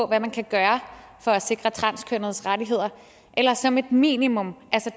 hvad man kan gøre for at sikre transkønnedes rettigheder eller som et minimum altså